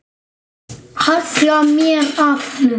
Halla mér að honum.